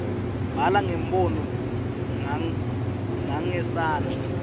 bhala ngebunono nangesandla